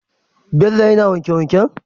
Bello yAna wanke wanken?